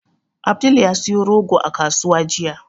Abdul ya siyo rogo a kasuwa jiya.